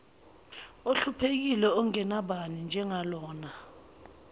ohluphekile ongenabani njengalona